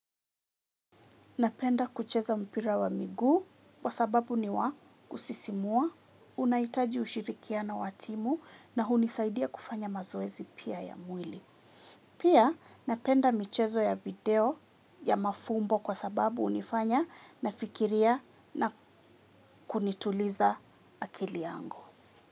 Napenda kucheza mpira wa miguu kwa sababu ni wa kusisimua, unahitaji ushirikiano wa timu na hunisaidia kufanya mazoezi pia ya mwili. Pia napenda michezo ya video ya mafumbo kwa sababu hunifanya nafikiria na kunituliza akili yangu.